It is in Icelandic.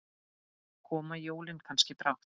Koma jólin kannski brátt?